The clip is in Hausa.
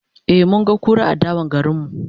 e mun ga kura a dawan garinmu